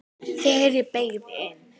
Þegar ég beygði inn